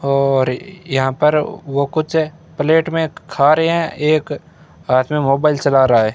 और यहां पर वो कुछ प्लेट में खा रहे हैं एक हाथ में मोबाइल चला रहा है।